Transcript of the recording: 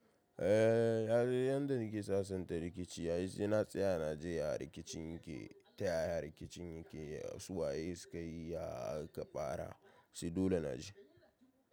Eh, yanda nake sasanta rikici ai sai na tsaya na ji ya riki cin yake ta yaya riki cin yake. Su waye sukayi ya ka fara? Sai dole naji.